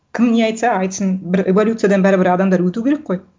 кім не айтса айтсын бір эволюциядан бәрібір адамдар өту керек қой